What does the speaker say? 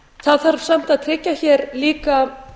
það þarf samt að tryggja hér líka